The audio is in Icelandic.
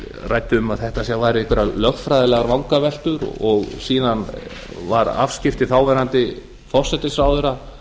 ræddi um að þetta væru einhverjar lögfræðilegar vangaveltur og síðan voru afskipti þáv forsætisráðherra